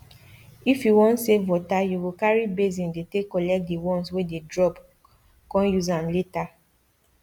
if you want save wateryou go carry basin dey take collect the ones wey dey dropcon use am later